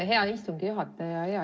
Hea istungi juhataja!